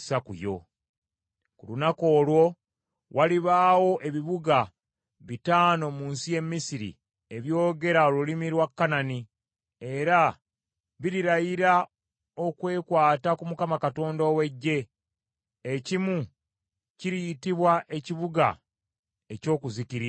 Ku lunaku olwo walibaawo ebibuga bitaano mu nsi y’e Misiri ebyogera olulimi lwa Kanani, era birirayira okwekwata ku Mukama Katonda ow’Eggye. Ekimu kiriyitibwa Ekibuga Ekyokuzikirira.